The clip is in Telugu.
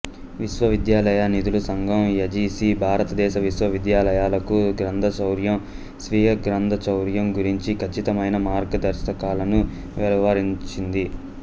విశ్వవిద్యాలయ నిధుల సంఘం యుజిసి భారతదేశ విశ్వవిద్యాలయాలకు గ్రంథచౌర్యం స్వీయ గ్రంథచౌర్యం గురించిన ఖచ్చితమైన మార్గదర్శకాలను వెలువరించింది